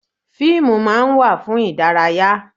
Fíìmù máa ń wà fún ìdárayá.